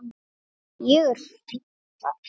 Ég er fínn þar.